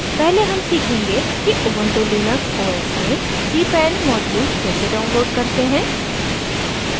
पहले हम सीखेंगे कि ubuntu linux os में cpan modules कैसे डाउनलोड करते हैं